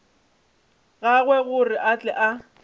gagwe gore a tle a